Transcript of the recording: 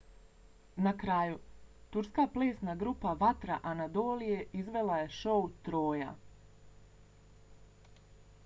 na kraju turska plesna grupa vatra anadolije izvela je šou troja